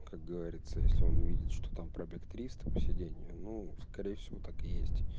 как говорится если он увидит что там пробег триста по сидению ну скорее всего так и есть